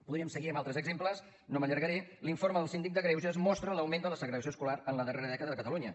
podríem seguir amb altres exemples no m’allargaré l’informe del síndic de greuges mostra l’augment de la segregació escolar la darrera dècada a catalunya